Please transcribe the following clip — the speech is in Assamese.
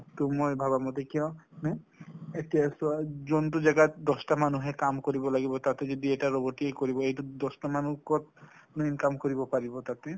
টো মই ভাবামতে কিয় মানে এতিয়া চোৱা যোনটো জাগাত দচতা মানুহে কাম কৰিব লাগিব তাতে যদি এটা robot এ কৰিব এইটো দচতা মানুহে কত মানে income কৰিব পাৰিব তাতে ।